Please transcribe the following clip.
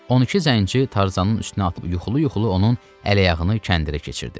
12 zənci Tarzanın üstünə atılıb yuxulu-yuxulu onun əl-ayağını kəndirə keçirdi.